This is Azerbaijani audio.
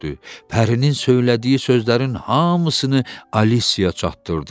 Pərinin söylədiyi sözlərin hamısını Alisiya çatdırdı.